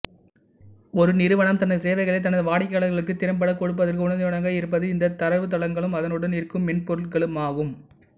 ஒரு நிறுவனம் தனது சேவைகளை தனது வாடிக்கையாளர்களுக்கு திறம்பட கொடுப்பதற்கு உறுதுணையாக இருப்பது இந்த தரவுத்தளங்களும் அதனுடன் இருக்கும் மென்பொருட்களுமாகும்